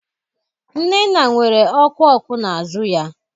Nnenna nwere ọkụ ọkụ n'azụ ya.